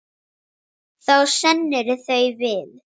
Þá sneru þau við.